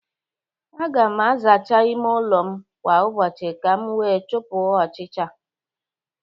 Aga m azacha ịme ụlọ m kwa ụbọchị ka m wee chụpụ ọchịcha